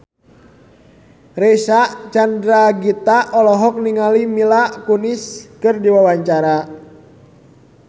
Reysa Chandragitta olohok ningali Mila Kunis keur diwawancara